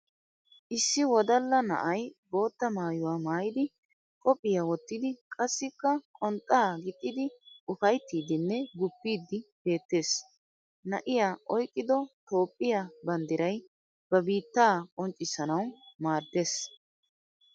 Issi wodalla na'ay bootta maayuwaa maayidi qophiyaa wottidi qassikka qonxxaa gixxidi ufayttiidinne guppiiddi beettes. Na'ay oyqqido toophphiya bandiray ba biitta qonccissanawu maaddes.